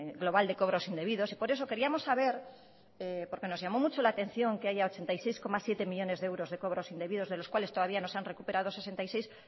global de cobros indebidos y por eso queríamos saber porque nos llamó mucho la atención que haya ochenta y seis coma siete millónes de euros de cobros indebidos de los cuales todavía no se han recuperado sesenta y seis